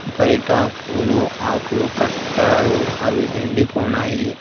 బైట పూలు ఆకులు కట్టారు అవి ఎండిపోనాయి.